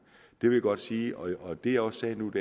det vil jeg godt sige og det jeg også sagde nu